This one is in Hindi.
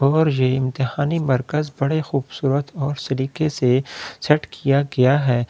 और यह इम्तिहानी बड़े खूबसूरत और तरीके से सेट किया गया है इस।